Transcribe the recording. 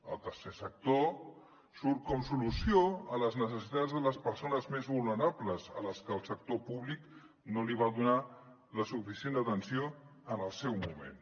el tercer sector surt com a solució a les necessitats de les persones més vulnerables a les que el sector públic no els va donar la suficient atenció en el seu moment